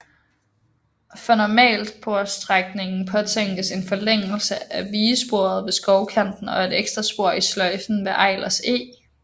For normalsporsstrækningen påtænkes en forlængelse af vigesporet ved Skovkanten og et ekstra spor i sløjfen ved Eilers Eg